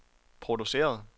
produceret